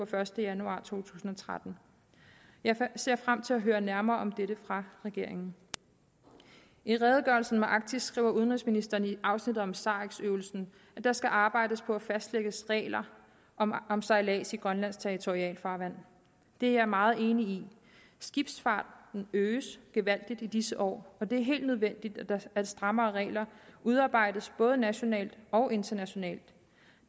første januar to tusind og tretten jeg ser frem til at høre nærmere om dette fra regeringen i redegørelsen om arktis skriver udenrigsministeren i afsnittet om sarex øvelsen at der skal arbejdes på at fastlægge regler om om sejlads i grønlandsk territorialfarvand det er jeg meget enig i skibsfarten øges gevaldigt i disse år og det er helt nødvendigt at strammere regler udarbejdes både nationalt og internationalt